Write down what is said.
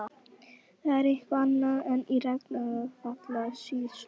Það er eitthvað annað en í Rangárvallasýslu.